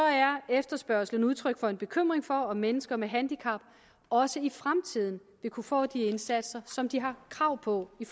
er efterspørgslen udtryk for en bekymring for om mennesker med handicap også i fremtiden vil kunne få de indsatser som de har krav på i